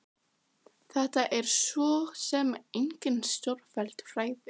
Þetta eru svo sem engin stórfelld fræði.